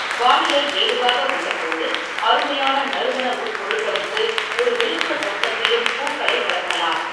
வானிலை ஏதுவாக உள்ளபோது, அருமையான நறுமண உட்பொருள்களுக்கு ஒரு வெளிப்புறத் தோட்டத்திலும் பூக்களை வளர்க்கலாம்.